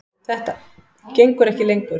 Þetta gengur ekki lengur.